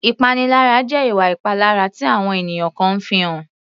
Ìpaniláyà jẹ́ ìwà ìpalára tí àwọn ènìyàn kan fi ń hàn.